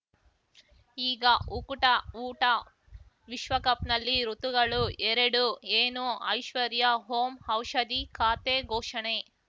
ಈಗ ಉಕುಟ ಊಟ ವಿಶ್ವಕಪ್‌ನಲ್ಲಿ ಋತುಗಳು ಎರಡು ಏನು ಐಶ್ವರ್ಯಾ ಓಂ ಔಷಧಿ ಖಾತೆ ಘೋಷಣೆ